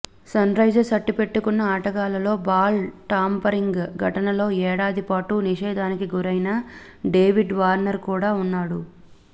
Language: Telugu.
సన్రైజర్స్ అట్టిపెట్టుకున్న ఆటగాళ్లలో బాల్ టాంపరింగ్ ఘటనలో ఏడాది పాటు నిషేధానికి గురైన డేవిడ్ వార్నర్ కూడా ఉన్నాడు